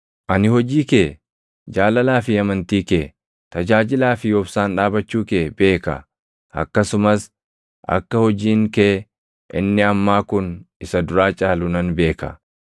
Ani hojii kee, jaalalaa fi amantii kee, tajaajilaa fi obsaan dhaabachuu kee beeka; akkasumas akka hojiin kee inni ammaa kun isa duraa caalu nan beeka.